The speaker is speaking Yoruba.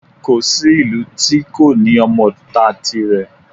Kò sí ìlú tí kò ní ọmọ ìta tirẹ̀